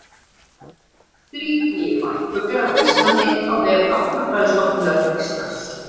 Þrír nýir varpfuglar á Íslandi á vef Náttúrufræðistofnunar Íslands.